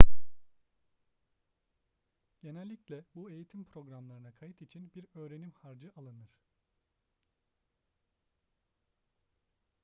genellikle bu eğitim programlarına kayıt için bir öğrenim harcı alınır